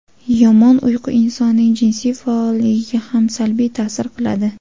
Yomon uyqu insonning jinsiy faolligiga ham salbiy ta’sir qiladi.